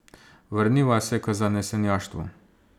Vrniva se k zanesenjaštvu.